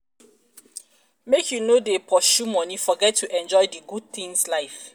make you no dey pursue moni forget to enjoy di good tins life.